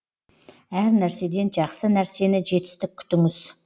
әр нәрседен жақсы нәрсені жетістік күтіңіз